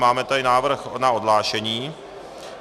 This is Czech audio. Máme tady návrh na odhlášení.